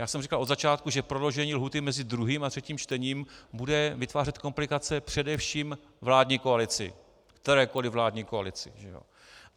Já jsem říkal od začátku, že prodloužení lhůty mezi druhým a třetím čtením bude vytvářet komplikace především vládní koalici, kterékoliv vládní koalici.